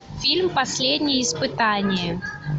фильм последнее испытание